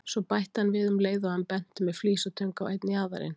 Svo bætti hann við um leið og hann benti með flísatöng á einn jaðarinn